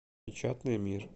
печатный мир